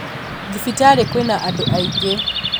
Thibitarĩ kwĩna andũ aingĩ